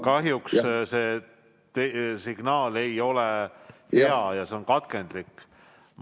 Kahjuks signaal ei ole hea, see on katkendlik.